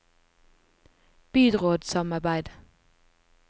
byrådssamarbeid